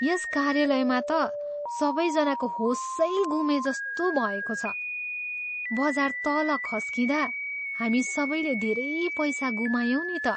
यस कार्यालयमा त सबैजनाको होसै गुमेजस्तो भएको छ। बजार तल खस्किँदा हामी सबैले धेरै पैसा गुमायौँ नि त।